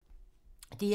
DR2